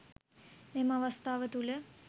මෙම අවස්ථාව තුළ